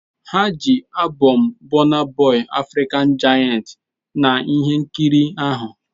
Ha ji albọm Burna Boy "African giant" na ihe nkiri ahụ.